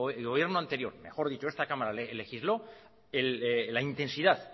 el gobierno anterior mejor dicho esta cámara legisló la intensidad